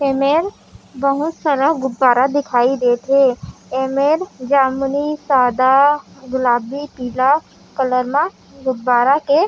एमेर बहुत सारा गुब्बारा दिखई देत हे एमेर जामुनी सादा गुलाबी पीला कलर मा गुब्बारा के --